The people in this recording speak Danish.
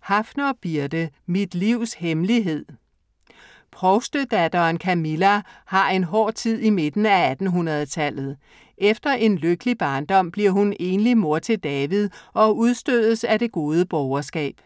Haffner, Birthe: Mit livs hemmelighed Provstedatteren Camilla har en hård tid i midten af 1800-tallet. Efter en lykkelig barndom bliver hun enlig mor til David og udstødes af det gode borgerskab.